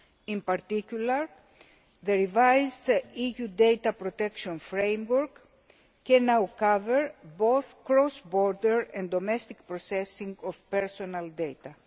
In particular, the revised EU data protection framework can now cover both cross border and domestic processing of personal data.